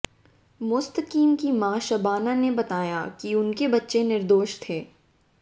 मुस्तकीम की माँ शबाना ने बताया कि उनके बच्चे निर्दोष थे